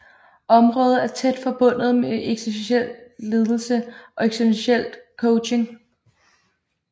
Området er tæt forbundet med eksistentiel ledelse og eksistentiel coaching